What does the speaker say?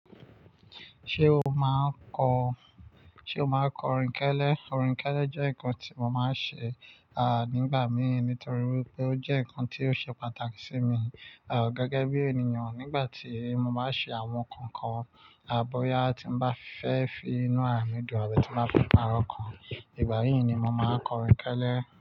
Ṣé o máa ń kọ--Ṣé o máa ń kọ orin kélé? Orin kélé jẹ́ ǹkan tí mo máa ń ṣe, a à, nígbà mí nítorí wípé ó jẹ́ ǹkan tí ó ṣe pàtàkì sí mi, à, gẹ́gẹ́ bí ènìyàn nígbà tí mo bá ṣe àwọn nǹkan kan, à, bóyá tí mo bá fẹ́ fi inú rà mí dùn ọrẹ tí bá fẹ́ pàrọ̀ kan, ìgbà yí ni mo máa kọ orin kélé.